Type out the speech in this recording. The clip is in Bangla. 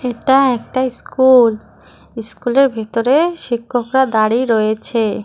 এটা একটা ইস্কুল ইস্কুলের ভিতরে শিক্ষকরা দাঁড়িয়ে রয়েছে।